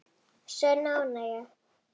Sönn ánægja.